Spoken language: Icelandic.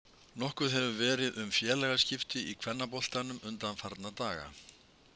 Nokkuð hefur verið um félagaskipti í kvennaboltanum undanfarna daga.